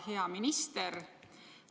Hea minister!